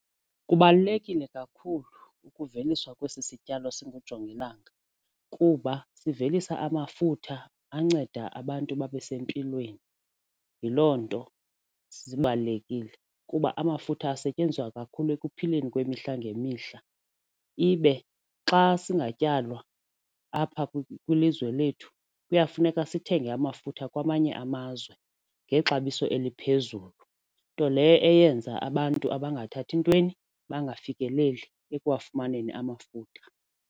Kubalulekile kakhulu ukuveliswa kwesi sityalo singujongilanga kuba sivelisa amafutha anceda abantu babe sempilweni yiloo nto sibalulekile kuba amafutha asetyenziswa kakhulu ekuphileni kwemihla ngemihla ibe xa singatyalwa apha kwilizwe lethu kuyafuneka sithenge amafutha kwamanye amazwe ngexabiso eliphezulu nto leyo eyenza abantu abangathathi ntweni bangafikeleli ekwafumaneni amafutha.